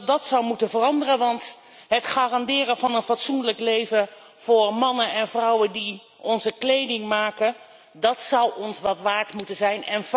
Dat zou moeten veranderen, want het garanderen van een fatsoenlijk leven voor mannen en vrouwen die onze kleding maken, dat zou ons wat waard moeten zijn.